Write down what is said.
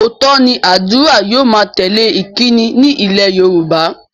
Óòtọ́ ni ádùrá yóò má ń tẹ́lè ìkíni ní ilé Yorùbá